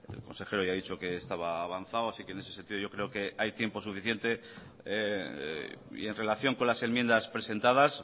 el consejero ha dicho que ya estaba avanzado así que en ese sentido yo creo que hay tiempo suficiente y en relación con las enmiendas presentadas